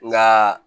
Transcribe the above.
Nka